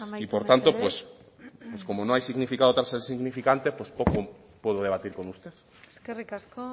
y por tanto pues como no hay significado tras el significante pues poco puedo debatir con usted eskerrik asko